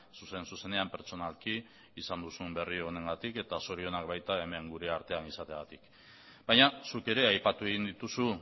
zuzen zuzenean pertsonalki izan duzun berri honengatik eta zorionak baita hemen gure artean izateagatik baina zuk ere aipatu egin dituzu